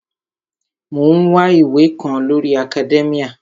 Mò ń wá ìwé kan lórii akadẹ́míà